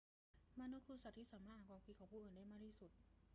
มนุษย์คือสัตว์ที่สามารถอ่านความคิดของผู้อื่นได้มากที่สุด